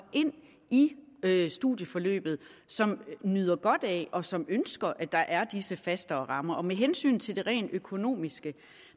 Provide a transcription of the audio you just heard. ind i studieforløbet og som nyder godt af og som ønsker at der er disse fastere rammer med hensyn til det rent økonomiske